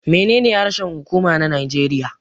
Menene harshen huƙuma na Najeriya.